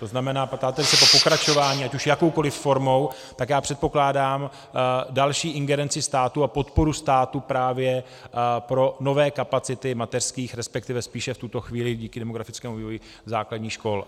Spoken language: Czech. To znamená, ptáte se po pokračování ať už jakoukoliv formou, tak já předpokládám další ingerenci státu a podporu státu právě pro nové kapacity mateřských, respektive spíše v tuto chvíli díky demografickému vývoji základních škol.